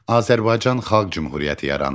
Azərbaycan Xalq Cümhuriyyəti yarandı.